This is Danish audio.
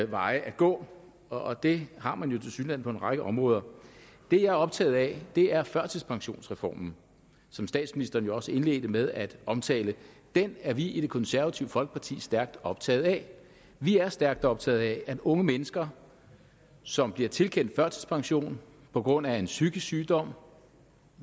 veje at gå og det har man jo tilsyneladende på en række områder det jeg er optaget af er førtidspensionsreformen som statsministeren jo også indledte med at omtale den er vi i det konservative folkeparti stærkt optaget af vi er stærkt optaget af at unge mennesker som bliver tilkendt førtidspension på grund af en psykisk sygdom